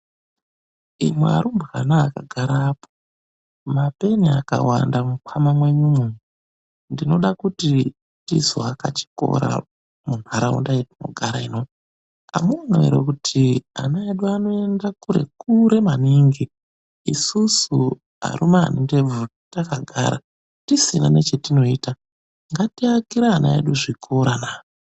Imwe arumbwana akagara apo ayo . Mapeni akawanda mukwama mwenyu uyo, Ndinoda kuti tizoaka chikora munharauranda yatinogara ino. Amuoni ere kuti ana edu anoenda kure kure maningi. Isusu arume tiae ndebvu takagara, tisina chatinoita .Ngatiakire ana edu zvikora na.